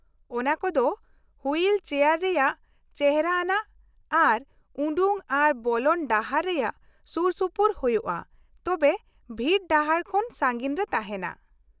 ᱚᱱᱟ ᱠᱚᱫᱚ wheelchair ᱨᱮᱭᱟᱜ ᱪᱮᱷᱨᱟ ᱟᱱᱟᱜ ᱟᱨ ᱩᱰᱩᱠ ᱟᱨ ᱵᱚᱞᱚᱱ ᱰᱟᱦᱟᱨ ᱨᱮᱭᱟᱜ ᱥᱩᱨᱥᱩᱯᱩᱨ ᱦᱩᱭᱩᱜᱼᱟ, ᱛᱚᱵᱮ ᱵᱷᱤᱲ ᱰᱟᱦᱟᱨ ᱠᱷᱚᱱ ᱥᱟᱹᱜᱤᱧ ᱨᱮ ᱛᱟᱦᱮᱱᱟ ᱾